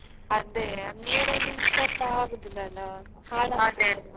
ಅದ್ದೇ ನೀರು ನಿಂತ್ರೆಸ ಆಗುದಿಲ್ಲ ಅಲ್ಲ ಅಲ್ಲ.